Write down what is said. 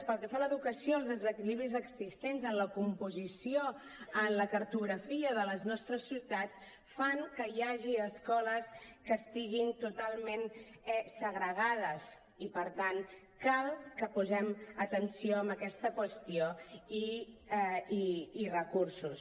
pel que fa a l’educació els desequilibris existents en la composició en la cartografia de les nostres ciutats fan que hi hagi escoles que estiguin totalment segregades i per tant cal que posem atenció en aquesta qüestió i recursos